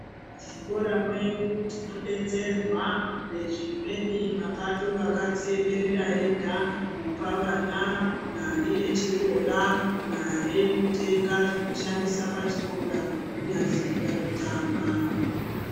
Muzvikora mwedu tinodetserwa nezvimweni mapato akadziiemerera ega. Kupa vana mare yechikora. Mare yekutenga zvekushandisa pachikora. Kunyazi vanotama.